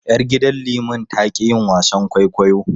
Yar gidan liman ta ƙi yin wasan kwaikwayo.